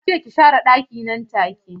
Nace ki share ɗakina nan take.